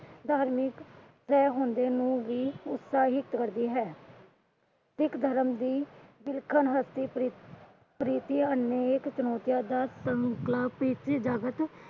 ਉਤਸਾਹਿਤ ਕਰਦੀ ਹੈ। ਸਿੱਖ ਧਰਮ ਦੀ ਅਨੇਕ ਚੁਣੌਤੀਆਂ ਦਾ